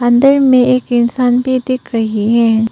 अंदर में एक इंसान भी दिख रही है।